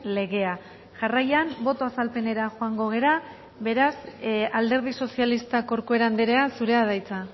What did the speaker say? legea jarraian boto azalpenera joango gara beraz alderdi sozialistak corcuera andrea zurea da hitza